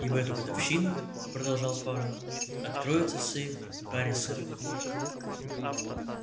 и в эту годовщину продолжал фара откроется сейф хари сэлдона